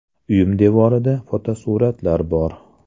Uyim devorida fotosuratlar bor.